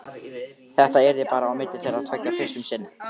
Þetta yrði bara á milli þeirra tveggja fyrst um sinn.